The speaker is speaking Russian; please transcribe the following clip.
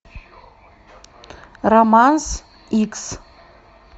романс икс